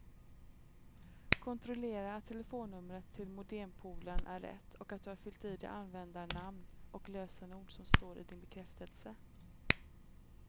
Kontrollera att telefonnumret till modempoolen är rätt och att du har fyllt i det användarnamn och lösenord som står i din bekräftelse.